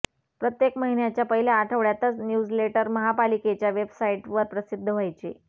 प्रत्येक महिन्याच्या पहिल्या आठवड्यातच न्यूजलेटर महापालिकेच्या वेबसाइटवर प्रसिद्ध व्हायचे